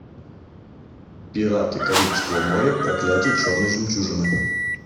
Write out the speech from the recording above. пираты карибского моря проклятие черной жемчужины